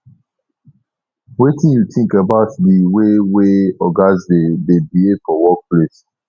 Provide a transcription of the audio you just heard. wetin you think about di way wey ogas dey dey behave for workplace